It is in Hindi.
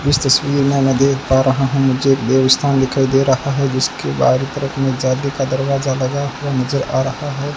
इस तस्वीर में मैं देख पा रहा हूं मुझे एक देवस्थान दिखाई दे रहा है जिसके बाहरी तरफ में जाने का दरवाजा लगा हुआ नजर आ रहा है।